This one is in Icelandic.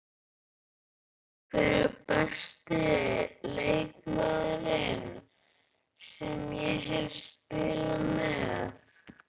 Hver er besti leikmaðurinn sem ég hef spilað með?